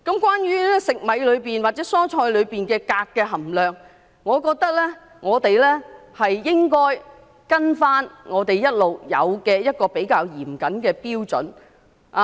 關於食米或蔬菜的鎘含量，我認為我們應該依循一直沿用比較嚴謹的標準。